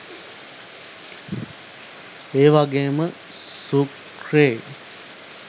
ඒවගේම සූක්‍රේ